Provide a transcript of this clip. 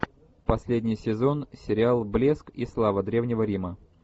последний сезон сериал блеск и слава древнего рима